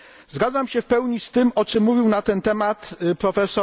Zgadzam się w pełni z tym, o czym mówił na ten temat prof.